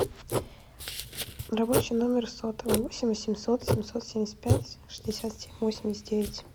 рабочий номер сотовый восемь восемьсот семьсот семьдесят пять шестьдесят семь восемьдесят девять